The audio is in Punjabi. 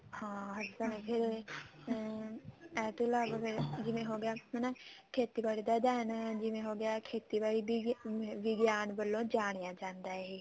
ਹਾਂ ਇਹ ਤਾਂ ਹੈ ਹੀ ਇਹ ਤੋਂ ਇਲਾਵਾ ਫ਼ੇਰ ਜਿਵੇਂ ਹੋਗਿਆ ਹਨਾ ਖੇਤੀਬਾੜੀ ਦਾ ਅਧਿਅਨ ਜਿਵੇਂ ਹੋਗਿਆ ਖੇਤੀਬਾੜੀ ਦੀ ਵਿਗਿਆਨ ਵੱਲੋਂ ਜਾਣਿਆ ਜਾਂਦਾ ਹੈ